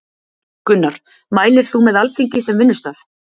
Gunnar: Mælir þú með Alþingi sem vinnustað?